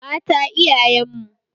Mata iyayen mu.